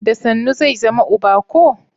Da sannu zai zama uba ko?